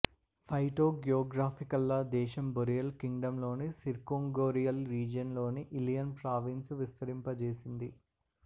ఫైటోగ్యోగ్రాఫికల్గా దేశం బొరియల్ కింగ్డంలోని circumboreal region లోని ఇల్ల్రియన్ ప్రావీంస్ను విస్తరింపజేసింది